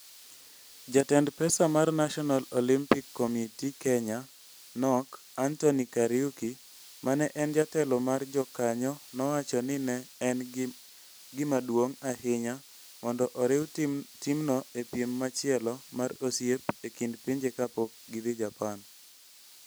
Jatend pesa mar National Olympic Committee - Kenya, (NOCK) Anthony Kariuki ma ne en jatelo mar jokanyo nowacho ni ne en gima duong ' ahinya mondo oriw timno e piem machielo mar osiep e kind pinje ka pok gidhi Japan.